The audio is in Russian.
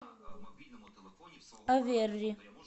оверри